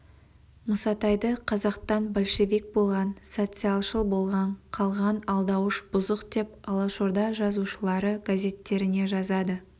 мұсатайды қазақтан большевик болған социалшыл бола қалған алдауыш бұзық деп алашорда жазушылары газеттеріне жазады